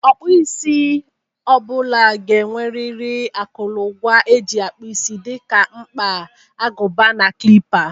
Ọkpụisi ọ bụla ga-enweriri akụrụngwa e ji akpụ isi dị ka mkpa, agụba na klịpa